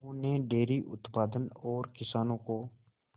उन्होंने डेयरी उत्पादन और किसानों को